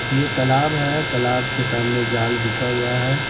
ये तालाब है तालाब के सामने जाल बिछा हुआ है।